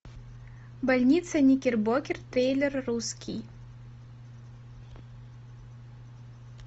больница никербокер трейлер русский